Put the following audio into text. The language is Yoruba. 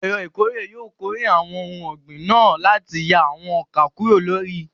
Ẹ̀rọ ìkórè yóò kórè àwọn ohun ọ̀gbìn náà láti yà àwọn ọkà kúrò lára igi.